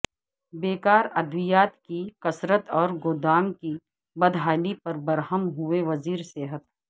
بیکارادویات کی کثرت اور گودا م کی بدحالی پر برہم ہوئے وزیر صحت